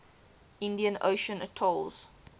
indian ocean atolls